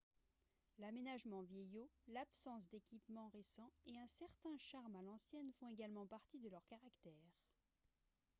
l'aménagement vieillot l'absence d'équipements récents et un certain charme à l'ancienne font également partie de leur caractère